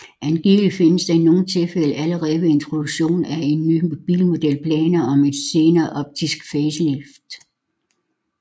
Angiveligt findes der i nogle tilfælde allerede ved introduktionen af en ny bilmodel planer om et senere optisk facelift